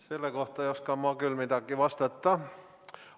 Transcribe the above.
Selle kohta ei oska ma küll midagi vastata.